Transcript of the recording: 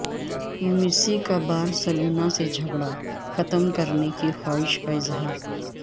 Messi کا Barcelona سے جھگڑا ختم کرنے کی خواہش کا اظہار